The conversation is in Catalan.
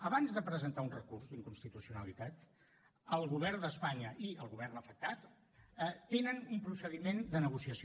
abans de presentar un recurs d’inconstitucionalitat el govern d’espanya i el govern afectat tenen un procediment de negociació